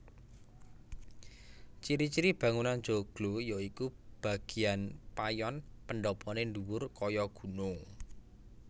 Ciri ciri bangunan joglo yaiku bagéan payon pendhapané dhuwur kaya gunung